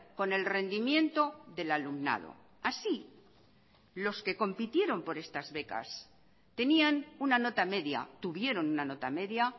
con el rendimiento del alumnado así los que compitieron por estas becas tenían una nota media tuvieron una nota media